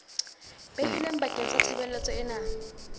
behilweng bakeng sa tshebeletso ena